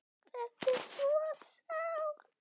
Þetta er þetta svo sárt!